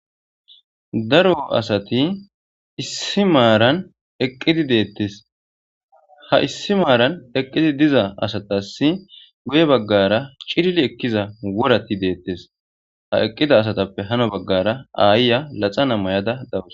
Daaro asati issi maaran eqqidi deettes ha issi maaran eqqiti diza asatas guye baggara cilili ekkiza worati deettes ha eqqida asatappe hano baggara aayya laxa na mayada dawus.